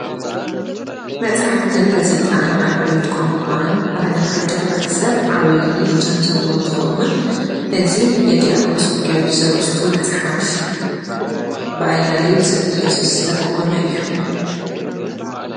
መጻሕፍትን ጋዜጣን ኣብ ዕቤት ቛንቋን ባህልን ሓደ ሕብረተ ሰብ ዓብዪ እጃም ዘለዎን እንትኸውን እዚ የዲያብሎስ ውጊያዎች ዘርእስቱ መጽሓፍ ብኣያሌው ዘኢየሱስ ዝተተርጐመ እዩ፡፡